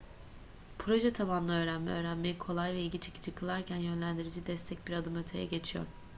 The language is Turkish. proje tabanlı öğrenme öğrenmeyi kolay ve ilgi çekici kılarken yönlendirici destek bir adım öteye geçiyor